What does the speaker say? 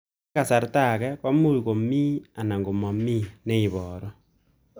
Eng' kasarta ag'e ko much ko mii anan komamii ne ibaru